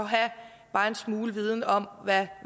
have bare en smule viden om hvad